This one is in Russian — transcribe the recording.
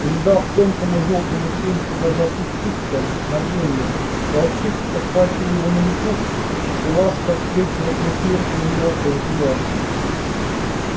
не дав тонкому жёлтому тельцу даже опуститься на землю волчица подхватила его на лету и ласка встретила свою смерть на её острых зубах